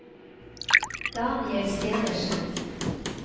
Daniel Stenersen